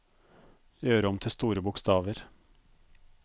Gjør om til store bokstaver